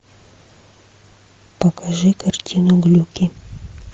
покажи картину глюки